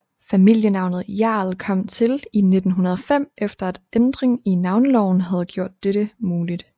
Familienavnet Hjerl kom til i 1905 efter at en ændring af navneloven havde gjort dette muligt